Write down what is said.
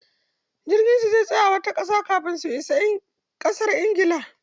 Jirgin su zai tsaya a wata ƙasar kafin su ƙarasa ingila.